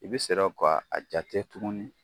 I bɛ serɔ ka a jate tuguni